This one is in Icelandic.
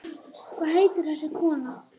Hvað heitir þessi kona?